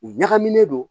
U ɲagaminen don